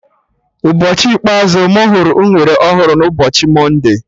Ụbọchị ikpeazụ mụ hụrụ unere ọhụrụ bụ ụbọchị mọnde